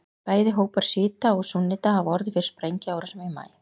Bæði hópar sjíta og súnníta hafa orðið fyrir sprengjuárásum í maí.